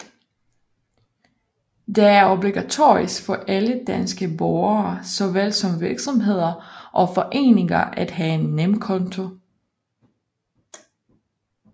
Det er obligatorisk for alle danske borgere såvel som virksomheder og foreninger at have en NemKonto